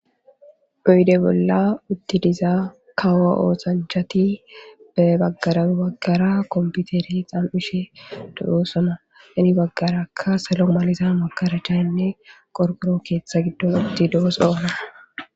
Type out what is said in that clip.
uyde bolla uttidizaa kawo ooxanchati be baggara baggara komputeri xan7ushe do7o sona ini baggaraka selo maliza makarachainne qorkoro keeththa giddon utti doo soana